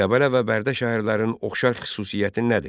Qəbələ və Bərdə şəhərlərinin oxşar xüsusiyyəti nədir?